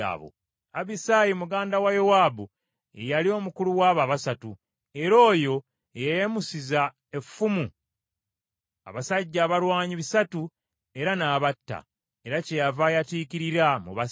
Abisayi muganda wa Yowaabu ye yali omukulu w’abo abasatu, era oyo ye yayimusiza effumu abasajja abalwanyi bisatu era n’abatta, era kyeyava ayatiikirira mu basatu.